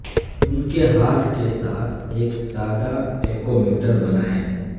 ان کے ہاتھ کے ساتھ ایک سادہ ٹیکومیٹر بنائیں